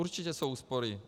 Určitě jsou úspory.